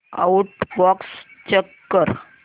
outbox check कर